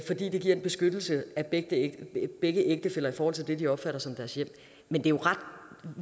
det giver en beskyttelse af begge ægtefæller i forhold til det de opfatter som deres hjem men det er ret